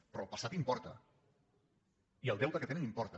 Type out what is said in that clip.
però el passat importa i el deute que tenen importa